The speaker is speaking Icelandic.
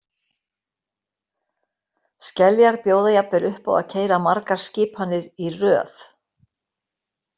Skeljar bjóða jafnvel upp á að keyra margar skipanir í röð.